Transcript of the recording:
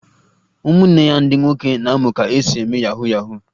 Ụmụnne ya ndị nwoke na-amụ ka esi eme yahu yahu